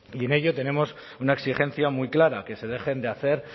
y en ello tenemos una exigencia muy clara que se dejen de hacer